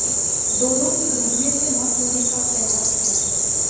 दोनों की डूबने से मौत होने का कयास हैं